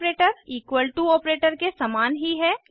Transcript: operator equal to operator के सामान ही है